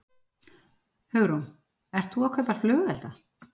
Hugrún: Ert þú að kaupa flugelda?